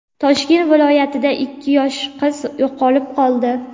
Toshkent viloyatida ikki yosh qiz yo‘qolib qoldi.